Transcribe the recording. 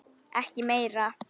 Ekki meira.